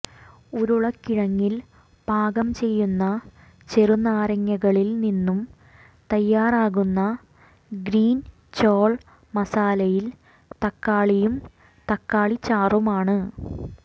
ഉരുളക്കിഴങ്ങിൽ പാകം ചെയ്യുന്ന ചെറുനാരങ്ങകളിൽ നിന്നും തയ്യാറാക്കുന്ന ഗ്രീൻ ചോൾ മസാലയിൽ തക്കാളിയും തക്കാളി ചാറുമാണ്